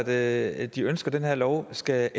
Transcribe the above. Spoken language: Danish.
at de ønsker at den her lov skal